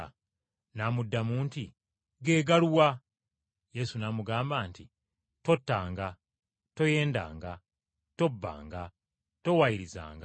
N’amuddamu nti, “Ge galuwa?” Yesu n’amugamba nti, “ ‘Tottanga, toyendanga, tobbanga, towaayirizanga,